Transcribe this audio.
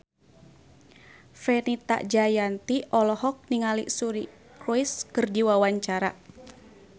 Fenita Jayanti olohok ningali Suri Cruise keur diwawancara